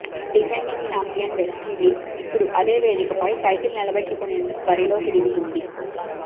defending champion West Indies ఇప్పుడు అదే వేదికపై టైటిల్ నిలబెట్టుకునేందుకు బరిలోకి దిగుతుంది